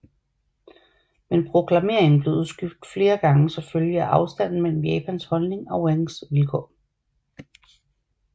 Men proklameringen blev udskudt flere gange som følge af afstanden mellem Japans holdning og Wangs vilkår